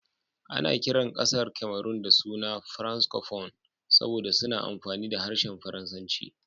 Ana kiran kasar Cameron da suna "Francophone" saboda suna amfani da harshen Faransanci.